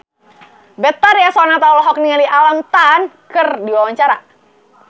Betharia Sonata olohok ningali Alam Tam keur diwawancara